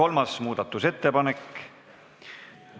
Asumegi seda hääletama!